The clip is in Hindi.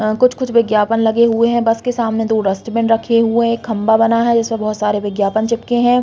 अ कुछ-कुछ विज्ञापन लगे हुए हैं। बस के सामने दो डस्टबिन रखे हुए एक खम्बा बना हुआ है जिसमें बहुत सारे विज्ञापन चिपके हैं।